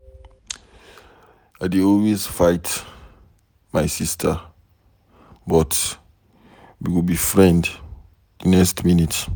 I dey always fight my sister but we go be friends the next minute.